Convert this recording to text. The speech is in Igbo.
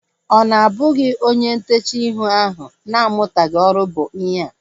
Ọ na ọ bụghị onye ntechaa ihu ahu na-amutaghi ọrụ bụ ihea?